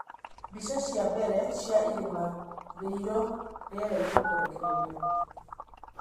Mbicha cia mbere cia irima rĩiro rĩera-ini kurekererio